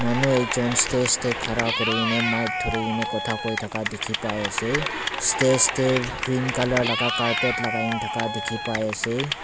manu ekjon stage khara kori kina micha thori kina kotha koi thaka dekhi pai ase stage te green colour laga carpet lagai laga dekhi pai ase.